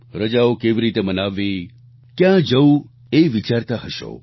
રજાઓ કેવી રીતે મનાવવી ક્યાં જવું એ વિચારતા હશો